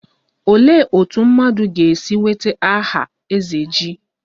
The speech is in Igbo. Olee otú mmadụ ga-esi nweta aha 'ezeji'?